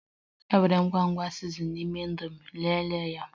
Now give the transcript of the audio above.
E nwere ngwugwu sizinin n'ime indomi, lelee ya